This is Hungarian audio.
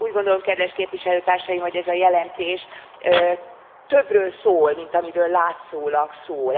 Úgy gondolom kedves Képviselőtársaim, hogy ez a jelentés többről szól, mint amiről látszólag szól.